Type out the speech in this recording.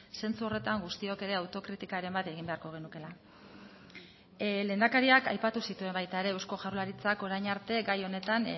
zentzu horretan guztiok ere autokritikaren bat egin beharko genukeela lehendakariak aipatu zituen baita ere eusko jaurlaritzak orain arte gai honetan